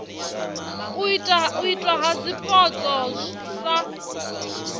u itwa ha zwipotso sa